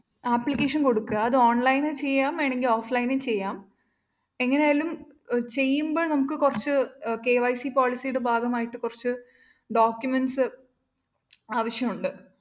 application കൊടുക്കുക അത് online ഉം ചെയ്യാം വേണെങ്കില്‍ offline ഉം ചെയ്യാം എങ്ങനായാലും ചെയ്യുമ്പോ നമുക്ക് കുറച്ച് KYC policy യുടെ ഭാഗമായിട്ട് കുറച്ച് documents ഉം ആവശ്യമുണ്ട്